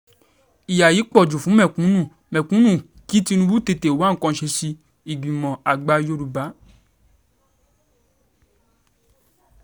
ìyá yìí pọ̀ jù fún mẹ̀kúnnù mẹ̀kúnnù kí tinubu tètè wá nǹkan ṣe sí i- ìgbìmọ̀ àgbà yorùbá